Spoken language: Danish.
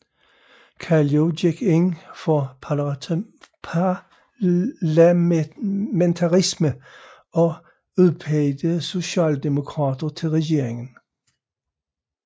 Kallio gik ind for parlamentarisme og udpegede socialdemokrater til regeringen